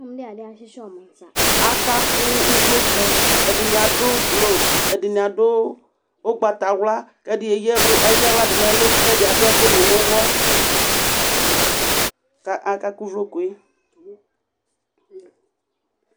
akaku uʋloku ɛdini aɖu blue ɛdini adu ugbataxla kɛdi eyaxladunɛlu ku ɛdi aduɛkuni nu uxɔ ku akaku uʋlokue